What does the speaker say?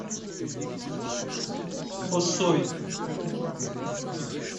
осой